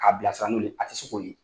K'a bila sira n'ulu ye a tɛ se k'o ye.